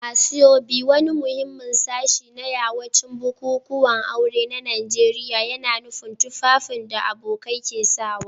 Asoebi, wani muhimmin sashi na yawancin bukukuwan aure na gargajiya, yana nufin tufafin da abokai ke sanyawa.